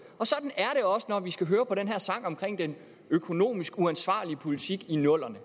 sådan er det også når vi skal høre på den her sang om den økonomisk uansvarlige politik i nullerne